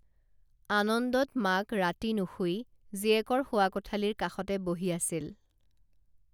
আনন্দত মাক ৰাতি নুশুই জীয়েকৰ শোৱা কোঠালীৰ কাষতে বহি আছিল